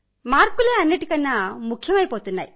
మార్కులే అన్నింటికన్నా ముఖ్యమైపోయాయి